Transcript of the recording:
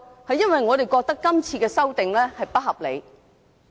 是因為我們認為今次的修訂建議非常不合理。